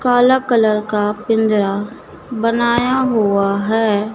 काला कलर का पिंजरा बनाया हुआ है।